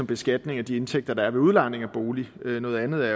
beskatning af de indtægter der er ved udlejning af boliger noget andet er